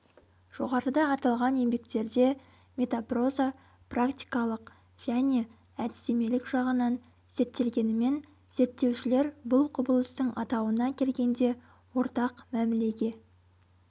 жоғарыда аталған еңбектерде метапроза практикалық және әдістемелік жағынан зерттелгенімен зерттеушілер бұл құбылыстың атауына келгенде ортақ мәмілеге